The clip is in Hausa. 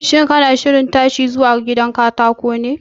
Shin kana shirin tashiwa zuwa gidan katako ne?